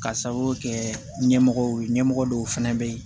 K'a sababu kɛ ɲɛmɔgɔ ye ɲɛmɔgɔ dɔw fɛnɛ bɛ ye